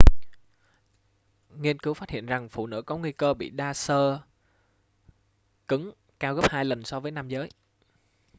nghiên cứu phát hiện rằng phụ nữ có nguy cơ bị đa xơ cứng cao gấp hai lần so với nam giới